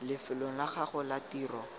lefelong la gago la tiro